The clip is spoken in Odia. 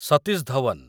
ସତୀଶ ଧୱନ